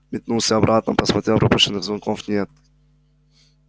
метнулся обратно посмотрел пропущенных звонков нет